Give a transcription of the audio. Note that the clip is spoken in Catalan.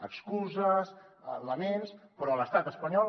excuses laments però l’estat espanyol